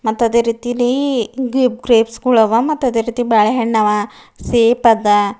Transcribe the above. ಮತ್ ಅದೇ ರೀತಿಲಿ ಗ್ರೆಪ್ಸ ಗೊಳವ ಮತ್ತ ಅದೇ ರೀತಿ ಬಾಳೆಹಣ್ ಆವ ಸೇಬ್ ಅದ.